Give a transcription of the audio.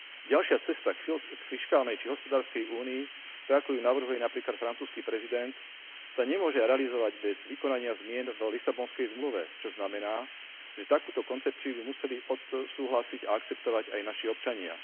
Ďalšia cesta k fiškálnej či hospodárskej únii tak, ako ju navrhuje napríklad francúzsky prezident, sa nemôže realizovať bez vykonania zmien v Lisabonskej zmluve, čo znamená, že takúto koncepciu by museli odsúhlasiť a akceptovať aj naši občania.